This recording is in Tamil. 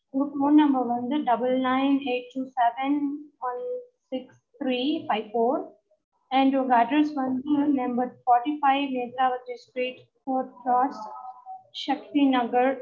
உங்க phone number வந்து double nine eight two seven six three five four and உங்க address வந்து number forty fivenethaji street forth cross Shakti நகர்